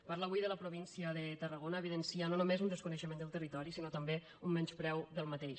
parla avui de la província de tarragona evidenciant no només un desconeixement del territori sinó també un menyspreu per aquest territori